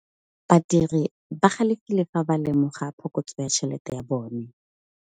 Badiri ba galefile fa ba lemoga phokotsô ya tšhelête ya bone.